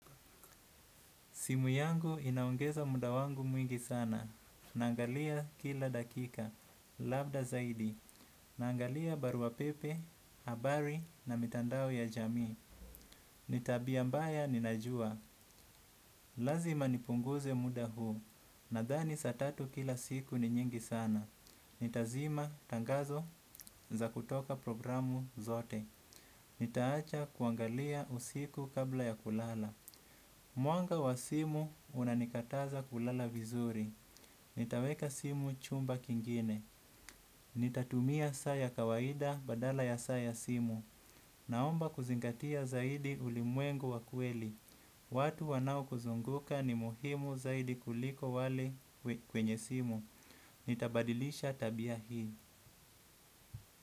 Simu yangu inaongeza muda wangu mwingi sana. Naangalia kila dakika, labda zaidi. Naangalia barua pepe, habari na mitandao ya jamii. Ni tabia mbaya ninajua. Lazima nipunguze muda huu. Nadhani saatatu kila siku ni nyingi sana. Nitazima tangazo za kutoka programu zote. Nitaacha kuangalia usiku kabla ya kulala. Mwanga wa simu unanikataza kulala vizuri. Nitaweka simu chumba kingine. Nitatumia saa ya kawaida badala ya saa ya simu. Naomba kuzingatia zaidi ulimwengu wa kweli. Watu wanaokuzunguka ni muhimu zaidi kuliko wale kwenye simu. Nitabadilisha tabia hii.